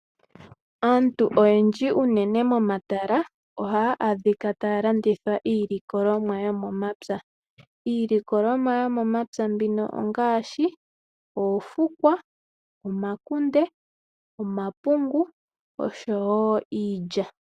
Aantu oyendji unene tuu momatala ohaa adhikataa landitha iilikolomwa yomomapya. Iilikolomwa yomomapya mbino ongaashi oofukwa, omakunde, omapungu, oshowo iilya.